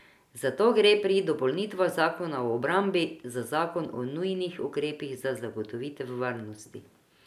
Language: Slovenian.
Zato gre pri dopolnitvah zakona o obrambi za zakon o nujnih ukrepih za zagotovitev varnosti.